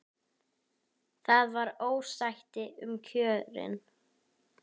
Það var ósætti um kjörin.